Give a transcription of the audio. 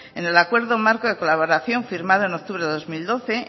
en el acuerdo marco de colaboración firmada en octubre de dos mil doce